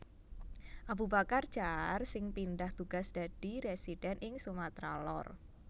Abubakar Jaar sing pindah tugas dadi residen ing Sumatra Lor